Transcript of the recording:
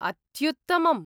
अत्युत्तमम्!